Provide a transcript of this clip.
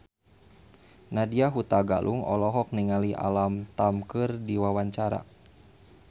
Nadya Hutagalung olohok ningali Alam Tam keur diwawancara